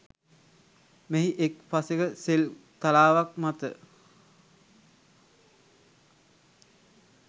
මෙහි එක් පසෙක සෙල් තලාවක් මත